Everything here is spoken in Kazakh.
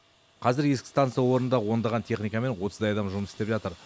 қазір ескі станса орында ондаған техника мен отыздай адам жұмыс істеп жатыр